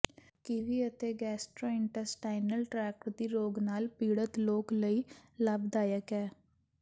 kiwi ਅਤੇ gastrointestinal tract ਦੀ ਰੋਗ ਨਾਲ ਪੀੜਤ ਲੋਕ ਲਈ ਲਾਭਦਾਇਕ ਹੈ